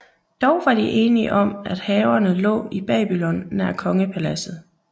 Dog var de enige om at haverne lå i Babylon nær kongepaladset